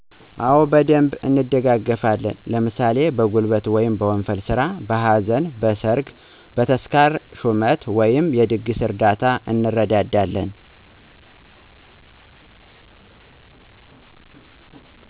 አወ በደንብ እንደጋገፋለን። ለምሣሌ በጉልበት/ወንፈል ስራ: በሀዘን: በሠርግ ተስካር ሹመት/የድግስ እርዳታ/ እንረዳዳለን።